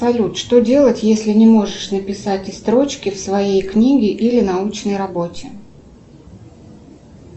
салют что делать если не можешь написать и строчки в своей книге или научной работе